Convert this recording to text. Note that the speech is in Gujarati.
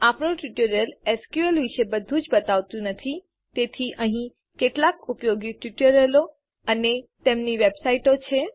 આપણું ટ્યુટોરીયલ એસક્યુએલ વિશે બધુંજ બતાવતું નથી તેથી અહીં કેટલાક ઉપયોગી ટ્યુટોરીયલો અને તેમની વેબસાઈટો છે